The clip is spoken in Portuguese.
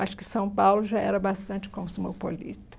Acho que São Paulo já era bastante cosmopolita